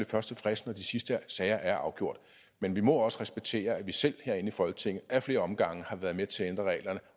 først tilfreds når de sidste sager er afgjort men vi må også respektere at vi selv herinde i folketinget ad flere omgange har været med til at ændre reglerne